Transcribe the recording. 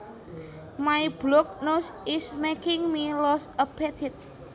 My blocked nose is making me lose appetite